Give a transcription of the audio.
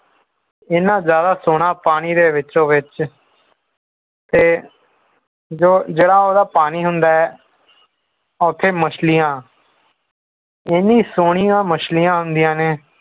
ਏਨਾ ਜ਼ਿਆਦਾ ਸੋਹਣਾ ਪਾਣੀ ਦੇ ਵਿਚੋ-ਵਿਚ ਤੇ ਜੋ ਜਿਹੜਾ ਉਹਦਾ ਪਾਣੀ ਹੁੰਦਾ ਹੈ ਉੱਥੇ ਮੱਛਲੀਆਂ ਇੰਨੀਆਂ ਸੋਹਣੀਆਂ ਮੱਛਲੀ ਆਉਂਦੀਆਂ ਨੇ